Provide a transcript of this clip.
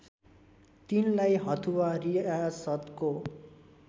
तिनलाई हथुआ रियासतको